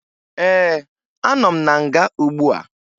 Ee, anọ m na nga ugbua